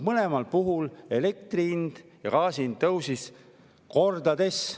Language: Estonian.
Mõlemal puhul tõusid elektri hind ja gaasi hind kordades.